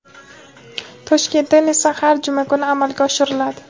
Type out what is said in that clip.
Toshkentdan esa har juma kuni amalga oshiriladi.